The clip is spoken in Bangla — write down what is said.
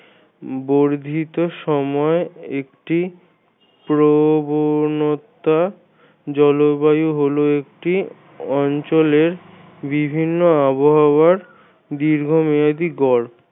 বর্ধিত সময় একটি প্রবণতা জলবায়ু হল একটি অঞ্চলের বিভিন্ন আবহাওয়ার দীর্ঘমেয়াদি গড়।